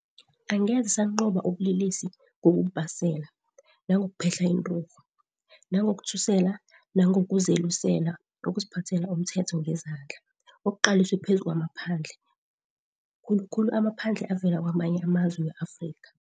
Angeze sanqoba ubulelesi ngokububasela, nangokuphehla inturhu, nangokuthusela nangokuzelusela, ukuziphathela umthetho ngezandla, okuqaliswe phezu kwamaphandle, khulukhulu amaphandle avela kamanye amazwe we-Afrika.